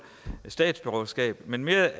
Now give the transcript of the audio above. statsborgerskab men mere